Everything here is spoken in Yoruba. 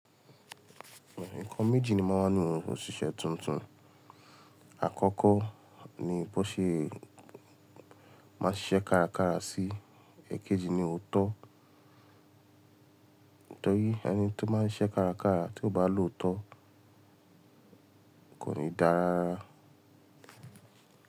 Nǹkan méjì ni máa n wà nínú òṣìṣẹ́ tuntun. Àkọ́kọ́ ni bó ṣe máa ń ṣiṣẹ́ kárakára sí, èkejì ni òótọ́. Nitorí ẹni tó máa ń ṣiṣẹ́ kárakára tí ó bá lòótọ́ kò ní dára.